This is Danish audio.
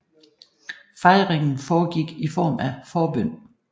Fejringen foregik i form af forbøn